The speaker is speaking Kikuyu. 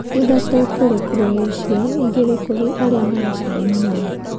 Ithatũ kũrĩ Croatia, igĩrĩ kũrĩ arĩa maracindana nao.